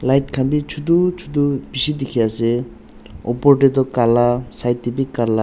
white khan bhi chotu chotu bishi dikhi ase upor teh toh kala side teh bhi kala.